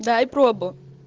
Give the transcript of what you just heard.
дай пробу